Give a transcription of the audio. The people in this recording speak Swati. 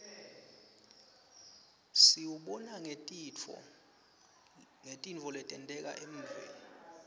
siwubona ngetintfo letenteka evfni